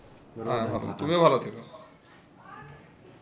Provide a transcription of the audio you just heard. হ্যাঁ হ্যাঁ তুমিও ভালো থেকো।